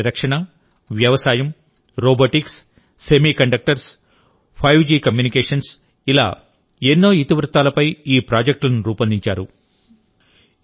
ఆరోగ్య పరిరక్షణ వ్యవసాయం రోబోటిక్స్ సెమీకండక్టర్స్ ఫైవ్ జికమ్యూనికేషన్స్ ఇలా ఎన్నో ఇతివృత్తాలపై ఈ ప్రాజెక్ట్లను రూపొందించారు